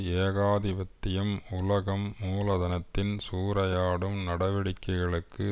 ஏகாதிபத்தியம் உலக மூலதனத்தின் சூறையாடும் நடவடிக்கைகளுக்கு